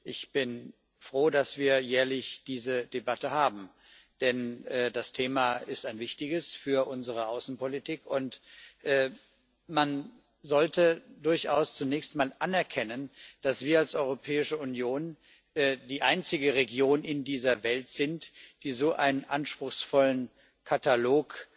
Ich bin froh, dass wir jährlich diese Debatte haben, denn das Thema ist ein wichtiges für unsere Außenpolitik. Man sollte durchaus zunächst mal anerkennen, dass wir als Europäische Union die einzige Region in dieser Welt sind, die so einen anspruchsvollen Katalog